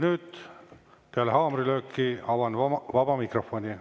Nüüd, peale haamrilööki avan vaba mikrofoni.